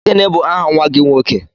Gịnị bụ aha nwa gị nwoke?